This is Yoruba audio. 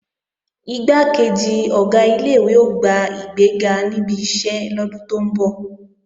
Igbákejì Ọ̀gá ilé-ìwé ó gba ìgbéga níbi iṣẹ́ lọ́dún tó ń bọ̀